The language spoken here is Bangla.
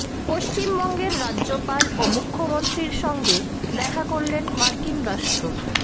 পশ্চিমবঙ্গের রাজ্যপাল ও মুখ্যমন্ত্রীর সঙ্গে দেখা করলেন মার্কিন রাষ্ট্র